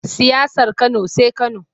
Siyasar Kano sai Kano.